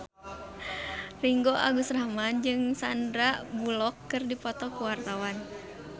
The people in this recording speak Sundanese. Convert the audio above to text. Ringgo Agus Rahman jeung Sandar Bullock keur dipoto ku wartawan